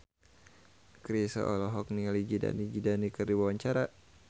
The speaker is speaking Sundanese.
Chrisye olohok ningali Zidane Zidane keur diwawancara